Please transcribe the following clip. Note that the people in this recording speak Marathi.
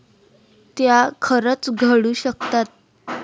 त्या खरंच घडू शकतात.